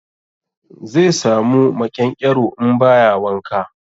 Zai samu maƙyanƙyaro in ba ya wanka.